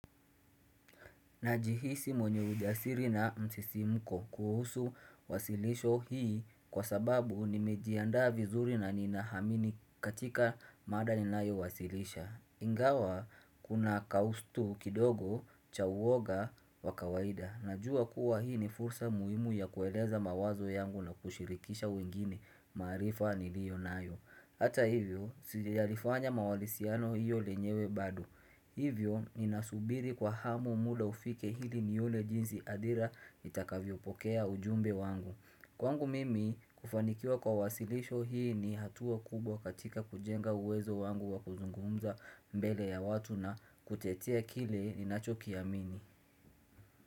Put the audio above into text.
Najihisi mwenye ujasiri na msisi mko kuhusu wasilisho hii kwa sababu nimejiandaa vizuri na nina hamini katika mada ni nayo wasilisha. Ingawa kuna kaustu kidogo cha uwoga wakawaida. Najua kuwa hii ni fursa muhimu ya kueleza mawazo yangu na kushirikisha wengine maarifa ni liyo nayo. Hata hivyo, sijalifanya mawalisiano hiyo lenyewe bado. Hivyo, ninasubiri kwa hamu muda ufike ili nione jinzi adhira itakavyopokea ujumbe wangu. Kwangu mimi, kufanikiwa kwa wasilisho hii ni hatua kubwa katika kujenga uwezo wangu wa kuzungumza mbele ya watu na kutetea kile ninacho kiamini.